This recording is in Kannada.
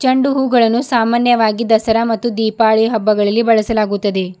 ಚೆಂಡುಹೂವುಗಳನ್ನು ಸಾಮಾನ್ಯವಾಗಿ ದಸರಾ ಮತ್ತು ದೀಪಾವಳಿ ಹಬ್ಬಗಳಲ್ಲಿ ಬಳಸಲಾಗುತ್ತದೆ.